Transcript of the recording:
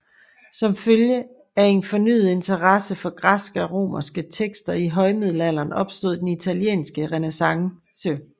Som følge af en fornyet interesse for græske og romerske tekster i højmiddelalderen opstod den italienske renæssance